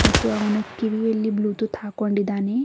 ಮತ್ತು ಅವನು ಕಿವಿಯಲ್ಲಿ ಬ್ಲೂಟೂತ್ ಹಾಕೊಂಡಿದಾನೆ.